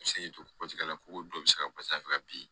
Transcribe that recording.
Se k'i to la ko dɔw bɛ se ka fɛ ka bin